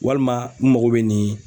Walima n mago bɛ nin